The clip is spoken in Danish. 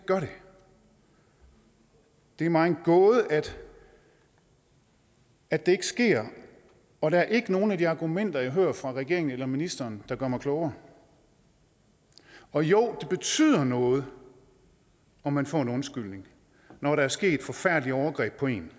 gør det det er mig en gåde at at det ikke sker og der er ikke nogen af de argumenter jeg hører fra regeringen eller ministeren der gør mig klogere og jo det betyder noget at man får en undskyldning når der er sket forfærdelige overgreb på en